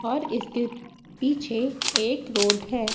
और इसके पीछे एक रोड है।